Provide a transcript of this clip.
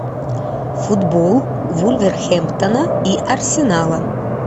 футбол вулверхэмптона и арсенала